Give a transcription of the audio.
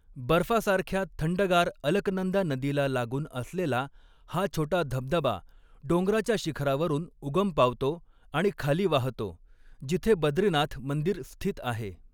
बर्फासारख्या थंडगार अलकनंदा नदीला लागून असलेला हा छोटा धबधबा डोंगराच्या शिखरावरून उगम पावतो आणि खाली वाहतो, जिथे बद्रीनाथ मंदिर स्थित आहे.